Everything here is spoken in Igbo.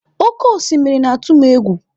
Oké osimiri na-atụ m egwu.